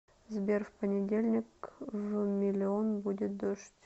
сбер в понедельник в миллион будет дождь